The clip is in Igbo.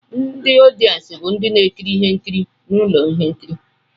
Ndị ọdịensị bụ ndị na-ekiri ihe nkiri na ụlọ ihe nkiri